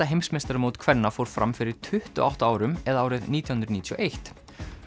heimsmeistaramót kvenna fór fram fyrir tuttugu og átta árum eða árið nítján hundruð níutíu og eitt